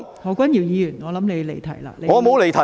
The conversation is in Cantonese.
何君堯議員，我認為你已離題。